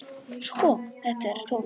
Sko, þetta er tónninn!